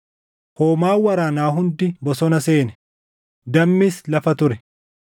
Hoomaan waraanaa hundi bosona seene; dammis lafa ture.